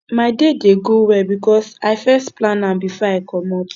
my day dey go well because i first plan am before i comot